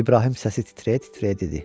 İbrahim səsi titrəyə-titrəyə dedi.